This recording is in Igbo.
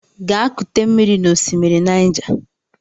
Gaa kute mmiri n'osimiri Naịja!